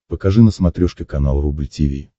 покажи на смотрешке канал рубль ти ви